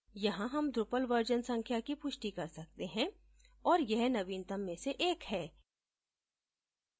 यहाँ हम drupal version संख्या की पुष्टि कर सकते हैं और यह नवीनतम में से एक है